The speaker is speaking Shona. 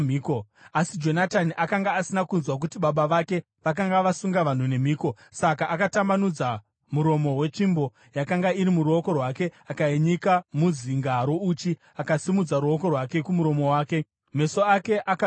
Asi Jonatani akanga asina kunzwa kuti baba vake vakanga vasunga vanhu nemhiko, saka akatambanudza muromo wetsvimbo yakanga iri muruoko rwake akainyika muzinga rouchi. Akasimudzira ruoko rwake kumuromo wake, meso ake akabengenuka.